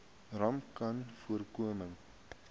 rapcanvoorkoming